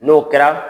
N'o kɛra